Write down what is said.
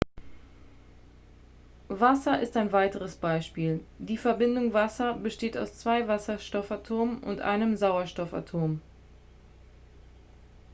wasser ist ein weiteres beispiel die verbindung wasser besteht aus zwei wasserstoffatomen und einem sauerstoffatom